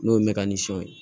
N'o ye mɛtiri sɔ ye